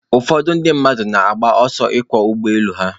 Ụfọdụ ndị mmadụ na-agba ọsọ ịkwọ ụgbọ elu ha.